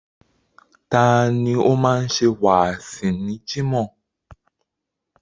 Tani ó máa ń ṣe wáàsí ní Jimoh?